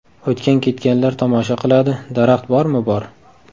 O‘tgan-ketganlar tomosha qiladi, daraxt bormi bor.